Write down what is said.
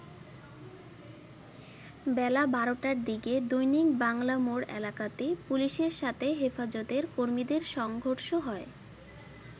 বেলা ১২টার দিকে দৈনিক বাংলা মোড় এলাকাতে পুলিশের সাথে হেফাজতের কর্মীদের সংঘর্ষ হয়।